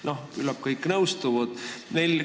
Noh, küllap kõik nõustuvad sellega.